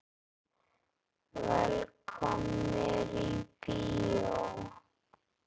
Velkomnir í bíó.